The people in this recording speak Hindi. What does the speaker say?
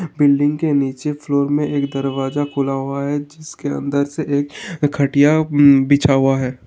बिल्डिंग के नीचे फ्लोर में एक दरवाज़ा खुला हुआ है जिसके अंदर से एक खटिया बि-बिछा हुआ है।